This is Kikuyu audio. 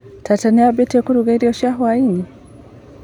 Tata niambĩtie kũruga irio cia hwainĩ?